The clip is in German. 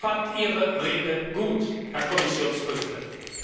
Ich fand Ihre Rede gut, Herr Kommissionspräsident!